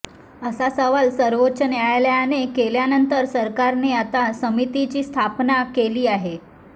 असा सवाल सर्वोच्च न्यायालयाने केल्यानंतर सरकारने आता समितीची स्थापना केली आहे